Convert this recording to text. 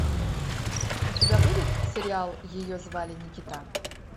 у тебя будет сериал ее звали никита